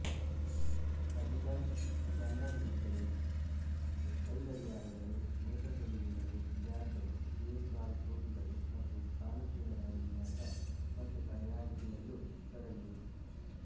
Adidas sandal ಗಳು ಕೈಗಡಿಯಾರಗಳು ನೇತ್ರತೊಡುಗೆಗಳುಬ್ಯಾಗ್ ಗಳು ಬೇಸ್ ಬಾಲ್ ಟೋಪಿಗಳು ಮತ್ತು ಕಾಲುಚೀಲಗಳ ವಿನ್ಯಾಸ ಮತ್ತು ತಯಾರಿಕೆಯಲ್ಲೂ ತೊಡಗಿದೆ